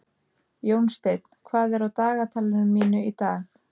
Jónsteinn, hvað er á dagatalinu mínu í dag?